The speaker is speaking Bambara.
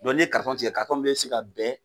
n'i ye karitɔn tigɛ, karitɔn min bɛ se ka bɛn,